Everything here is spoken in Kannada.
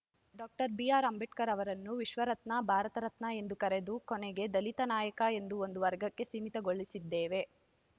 ಡಾಕ್ಟರ್ ಬಿಆರ್‌ಅಂಬೇಡ್ಕರ್‌ ಅವರನ್ನು ವಿಶ್ವರತ್ನ ಭಾರತ ರತ್ನ ಎಂದು ಕರೆದು ಕೊನೆಗೆ ದಲಿತ ನಾಯಕ ಎಂದು ಒಂದು ವರ್ಗಕ್ಕೆ ಸೀಮಿತಗೊಳಿಸಿದ್ದೇವೆ